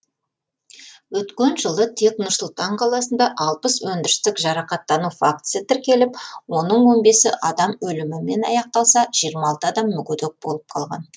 өткен жылы тек нұр сұлтан қаласында алпыс өндірістік жарақаттану фактісі тіркеліп оның он бесі адам өлімімен аяқталса жиырма алты адам мүгедек болып қалған